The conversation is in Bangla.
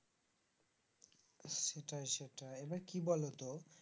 সেটাই সেটাই এবার কি বলতো